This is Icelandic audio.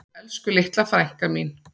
Elsku litla frænka mín.